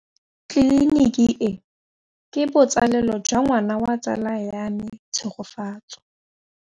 Tleliniki e, ke botsalêlô jwa ngwana wa tsala ya me Tshegofatso.